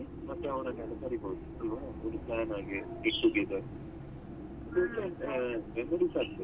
ಮತ್ತೆ ಅವ್ರನ್ನೆಲ್ಲ ಕರೀಬೋದು ಒಂದು join ಹಾಗೆ get together memories ಆಗ್ತದೆ ಅಲ್ವ.